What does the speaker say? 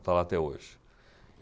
Está lá até hoje.